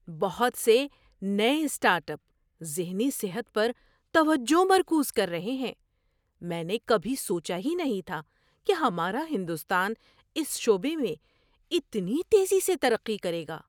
بہت سے نئے اسٹارٹ اپ ذہنی صحت پر توجہ مرکوز کر رہے ہیں! میں نے کبھی سوچا ہی نہیں تھا کہ ہمارا ہندوستان اس شعبے میں اتنی تیزی سے ترقی کرے گا۔